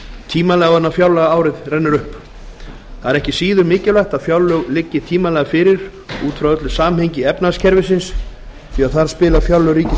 tímanlega áður en fjárlagaárið rennur upp það er ekki síður mikilvægt að fjárlög liggi tímanlega fyrir út frá öllu samhengi efnahagskerfisins því þar spila fjárlög